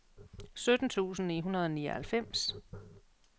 sytten tusind ni hundrede og nioghalvfems